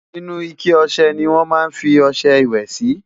inú ike ọsẹ ní wón má fí ọsẹ ìwé Si